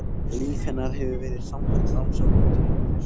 Líf hennar hefur verið samfelld rannsókn og tilraunir.